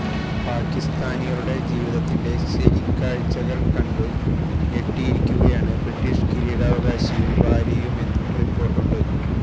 പാക്കിസ്ഥാനികളുടെ ജീവിതത്തിന്റെ ശരിക്കാഴ്ചകൾ കണ്ട് ഞെട്ടിയിരിക്കുകയാണ് ബ്രിട്ടീഷ് കിരീടാവകാശിയും ഭാര്യയുമെന്നും റിപ്പോർട്ടുണ്ട്